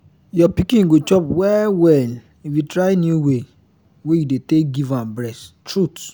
your pikin go chop well well if you try new way wey you dey take give am breast truth